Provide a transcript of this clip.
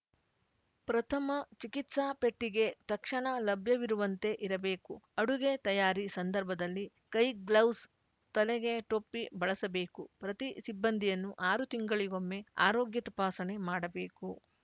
ಪ್ರಥಮ ಚಿಕಿತ್ಸಾ ಪೆಟ್ಟಿಗೆ ತಕ್ಷಣ ಲಭ್ಯವಿರುವಂತೆ ಇರಬೇಕು ಅಡುಗೆ ತಯಾರಿ ಸಂದರ್ಭದಲ್ಲಿ ಕೈಗ್ಲೌಸ್‌ ತಲೆಗೆ ಟೊಪ್ಪಿ ಬಳಸಬೇಕು ಪ್ರತಿ ಸಿಬ್ಬಂದಿಯನ್ನು ಆರು ತಿಂಗಳಿಗೊಮ್ಮೆ ಆರೋಗ್ಯ ತಪಾಸಣೆ ಮಾಡಬೇಕು